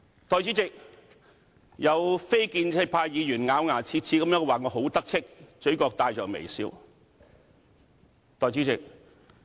代理主席，有非建制派議員咬牙切齒地說我很"得戚"，嘴角帶着微笑。